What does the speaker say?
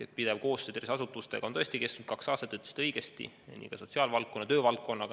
Pidev koostöö tervishoiuasutustega on tõesti kestnud kaks aastat, te ütlesite õigesti, ja nii ka sotsiaal- ja töövaldkonnaga.